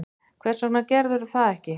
Hvers vegna gerirðu það ekki?